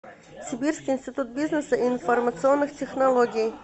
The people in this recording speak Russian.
сибирский институт бизнеса и информационных технологий